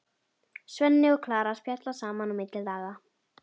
Svenni og Klara spjalla saman á milli laga.